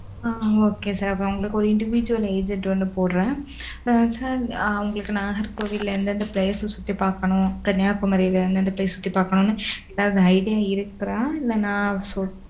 அ, okay sir அப்ப உங்களுக்கு ஒரு individual agent ஒண்ணு போடறேன். உங்களுக்கு, நாகர்கோவில்ல, எந்தெந்த place ச சுத்தி பாக்கணும், கன்னியாகுமரியில இருந்து, அந்த place சுத்தி பாக்கணும்ன்னு, எதாவது idea இருக்கா? இல்ல நான்